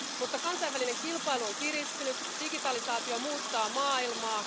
Mutta kansainvälinen kilpailu on kiristynyt, digitalisaatio muuttaa maailmaa.